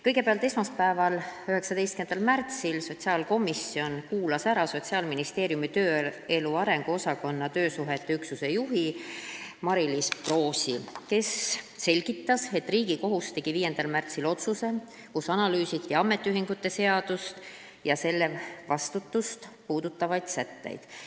Kõigepealt, esmaspäeval, 19. märtsil kuulas sotsiaalkomisjon ära Sotsiaalministeeriumi tööelu arengu osakonna töösuhete poliitika juhi Mariliis Proosi, kes selgitas, et Riigikohus tegi 5. märtsil otsuse, kus analüüsiti ametiühingute seadust ja selle vastutust puudutavaid sätteid.